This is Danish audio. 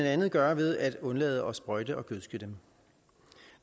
andet gøre ved at undlade at sprøjte og gødske den